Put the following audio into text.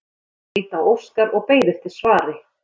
Margrét leit á Óskar og beið eftir svari.